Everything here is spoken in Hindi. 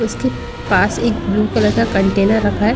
उसके पास एक ब्लू कलर का कंटेनर रखा है।